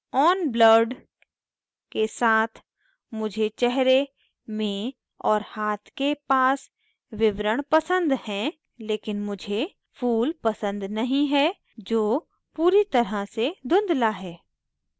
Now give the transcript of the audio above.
on blurred के साथ मुझे चेहरे में और हाथ के पास विवरण पसंद है लेकिन मुझे फूल पसंद नहीं है जो पूरी तरह से धुँधला है